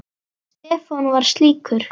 Stefán var slíkur.